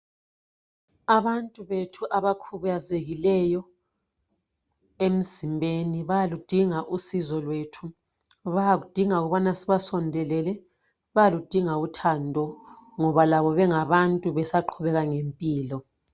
Abantu bethu abakhubazekileyo emzimbeni bayaludinga usizo lwethu. Bayakudinga ukuthi sibasondelele bayaludinga uthando ngoba labo bengabantu besaqhubeka ngempilo.